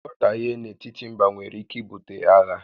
Nghọtahie n'etiti mbá nwèrè ike ibute àghà